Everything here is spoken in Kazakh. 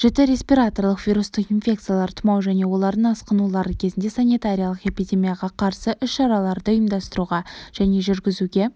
жіті респираторлық вирустық инфекциялар тұмау және олардың асқынулары кезінде санитариялық-эпидемияға қарсы іс-шараларды ұйымдастыруға және жүргізуге